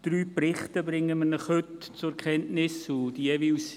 Drei Berichte bringen wir Ihnen heute zur Kenntnis.